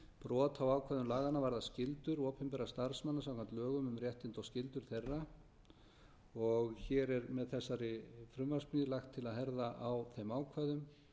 brot á ákvæðum laganna varða skyldur opinberra starfsmanna samkvæmt lögum um réttindi og skyldur þeirra og hér er með þessari frumvarpssmíð lagt til að herða á þeim ákvæðum